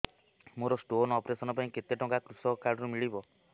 ମୋର stone operation ପାଇଁ କେତେ ଟଙ୍କା କୃଷକ କାର୍ଡ ରୁ ମିଳିବ